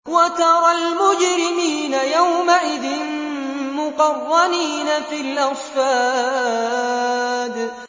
وَتَرَى الْمُجْرِمِينَ يَوْمَئِذٍ مُّقَرَّنِينَ فِي الْأَصْفَادِ